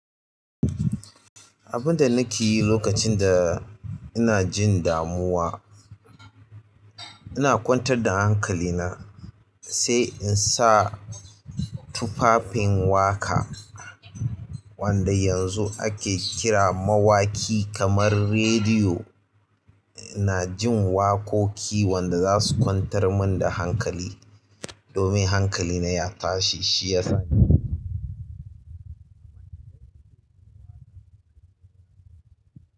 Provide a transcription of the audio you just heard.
Abinda nakeyi lokacin da inajin damuwa ina kwantar da hankali na sai in sa tufafin waƙa wanda yanzu ake kira mawaƙi kamar rediyo. Ina jin waƙoƙi wanda za su kwantar mun da hankali domin hankali na ya tashi, shi ya sani.